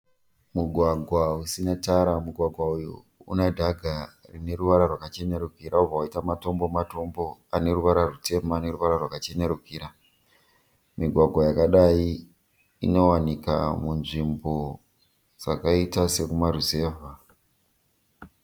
Mugwagwa usina tara, mugwagwa uyu unedhaga rineruvara rwakachenerukira obva waita matombo-matombo aneruvara rwutema neruvara rwakachenerukira. Migwagwa yakadai inowanika munzvimbo dzakaita sekumaruzevha.